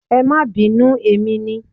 Ẹ máa bínú emi ni.